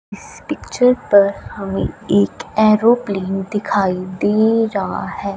इस पिक्चर पर हमें एक एरोप्लेन दिखाई दे रहा है।